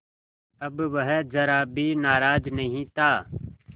अब वह ज़रा भी नाराज़ नहीं था